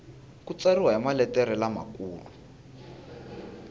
ku tsariwa hi maletere lamakulu